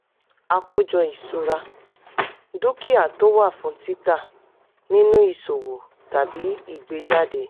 àkójọ ìṣura: dúkìá tí ò wà fún tita nínú ìṣowo tàbí ìgbéjáde.